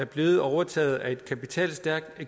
blevet overtaget af en kapitalstærk